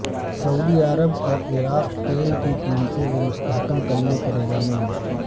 سعودی عرب اور عراق تیل کی قیمتوں کو مستحکم کرنے پر رضامند